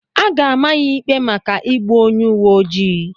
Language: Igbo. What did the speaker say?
A ga-ama ya ikpe maka igbu onye uwe ojii